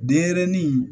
Denɲɛrɛnin